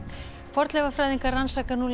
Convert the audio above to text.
fornleifafræðingar rannsaka nú